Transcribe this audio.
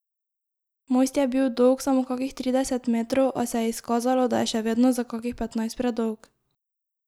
Most je bil dolg samo kakih trideset metrov, a se je izkazalo, da je še vedno za kakih petnajst predolg.